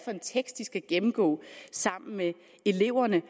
en tekst de skal gennemgå sammen med eleverne